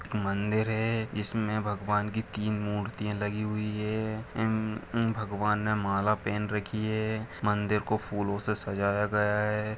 एक मंदिर है जिसमे भगवान की तीन मूर्तियां लगी हुई है इम इम्म भगवान ने माला पहन रखी है मंदिर को फूलो से सजाया गया है।